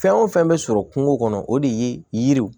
Fɛn o fɛn bɛ sɔrɔ kungo kɔnɔ o de ye yiriw